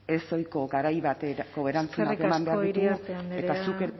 ezohiko garai bateko erantzunak eman behar ditugu eskerrik asko iriarte andrea